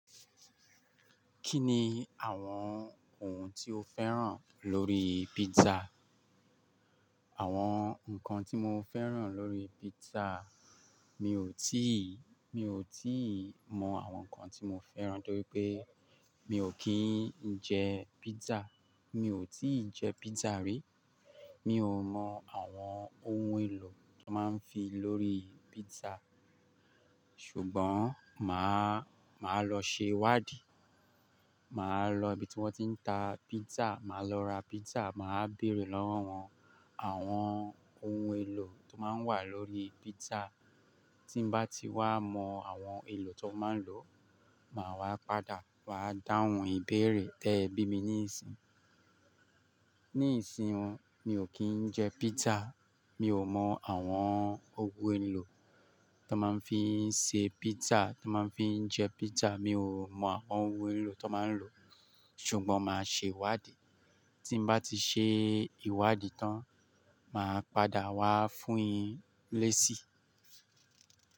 Kí ni àwọn ohun tí o fẹ́ràn lórí pizza? Àwọn ǹkan tí mo fẹ́ràn lórí pizza, mi ò tíì, mi ò tíì mọ àwọn ǹkan tí mo fẹ́ràn torí pé mi ò kí ń jẹ pizza. Mi ò tíì jẹ pizza rí. Mi ò mọ àwọn ohun èlò tó máa ń fi lórí pizza. Ṣùgbọ́n, màá, màá lọ ṣe ìwádìí. Màá lọ ibi tí wọ́n ti ń ta pizza, màá lọ ra pizza, màá béèrè lọ́wọ́ wọn àwọn ohun èlò tó máa ń wà lórí pizza. Tí bá ti wá mọ àwọn èlò tó máa ń lò, màá wá padà wá dáhùn ìbéèrè tẹ bí mi níìsín. Níìsín mi ò kí ń jẹ pizza, mi ò mọ àwọn ohun èlò tó máa ń fi ṣe pizza, tó máa ń fi jẹ pizza, mi ò mọ àwọn ohun èlò tó máa ń lò. Ṣùgbọ́n màá ṣe ìwádìí. Tí bá ti ṣe ìwádìí tán, màá padà wá fún yin leesi.